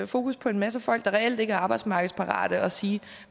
fokus på en masse folk der reelt ikke er arbejdsmarkedsparate og sige